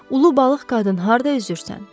Ulu balıq qadın harda üzürsən?